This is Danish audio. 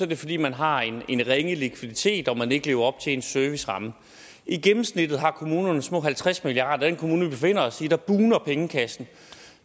det fordi man har en ringe likviditet og man ikke lever op til sin serviceramme i gennemsnit har kommunerne små halvtreds milliard den kommune vi befinder os i bugner pengekassen